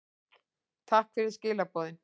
Takk fyrir skilaboðin.